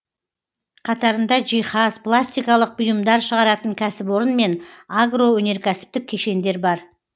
қатарында жиһаз пластикалық бұйымдар шығаратын кәсіпорын мен агроөнеркәсіптік кешендер бар